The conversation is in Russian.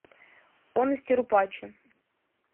он из тирупачи